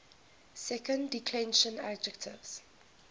second declension adjectives